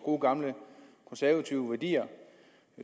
gode gamle konservative værdier